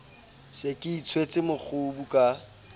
se ke itshwetse mokgubu ka